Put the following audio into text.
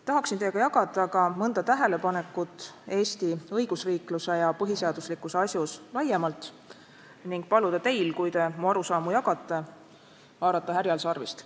Tahaksin teiega jagada ka mõnda tähelepanekut Eesti õigusriikluse ja põhiseaduslikkuse asjus laiemalt ning paluda teil, kui te mu arusaamu jagate, haarata härjal sarvist.